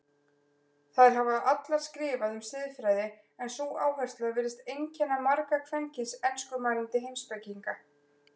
Þær hafa allar skrifað um siðfræði en sú áhersla virðist einkenna marga kvenkyns enskumælandi heimspekinga.